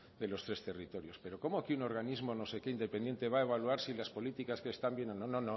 de los tres territorios pero cómo aquí un organismo no sé qué independiente va evaluar si las políticas están bien o no